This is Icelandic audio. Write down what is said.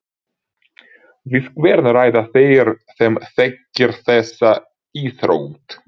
Við hvern ræða þeir sem þekkir þessa íþrótt?